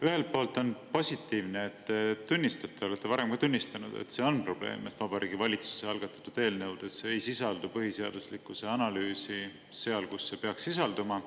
Ühelt poolt on positiivne, et te tunnistate – te olete varem ka tunnistanud, et see on probleem –, et Vabariigi Valitsuse algatatud eelnõudes ei sisaldu põhiseaduslikkuse analüüsi seal, kus see peaks sisalduma.